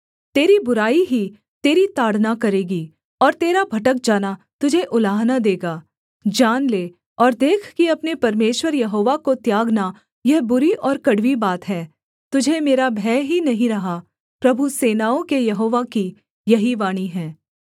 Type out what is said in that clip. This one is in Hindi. तेरी बुराई ही तेरी ताड़ना करेगी और तेरा भटक जाना तुझे उलाहना देगा जान ले और देख कि अपने परमेश्वर यहोवा को त्यागना यह बुरी और कड़वी बात है तुझे मेरा भय ही नहीं रहा प्रभु सेनाओं के यहोवा की यही वाणी है